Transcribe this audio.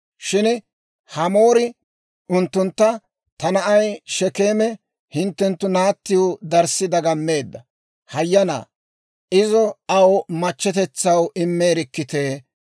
Shin Hamoori unttuntta, «Ta na'ay Shekeeme hinttenttu naattiw darssi dagammeedda; hayyanaa izo aw machchetetsaw immeerikkitee!